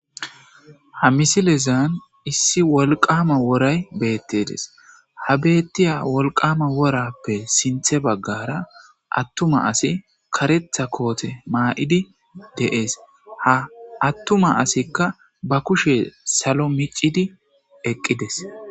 Ha misilezan issi wolqama woray beettedes ha beettiya wolqama worappe sinthe baggara attuma asi karetha koote maa7idi deees ha attuma asikka ba kushe salo micidi eqqides.